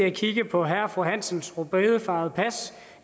at kigge på herre og fru hansens rødbedefarvede pas